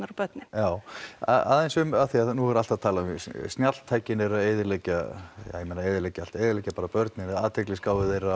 og börnin já aðeins um af því að nú er alltaf talað um snjalltækin eru að eyðileggja ja ég meina eyðileggja allt eyðileggja bara börnin eða athyglisgáfu þeirra